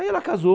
Aí ela casou.